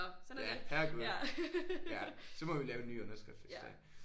Ja herregud ja så må vi lave en ny underskrift hvis det er